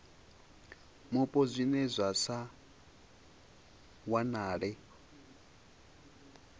mupo zwine zwa sa wanalee